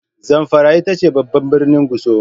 Zamfara ita ce babban birnin Gusau.